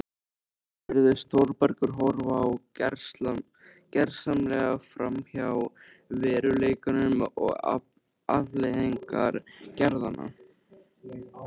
Sjálfur virðist Þórbergur horfa gersamlega framhjá veruleikanum og afleiðingum gerðanna.